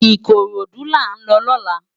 Ikorodu lá n lò lòlá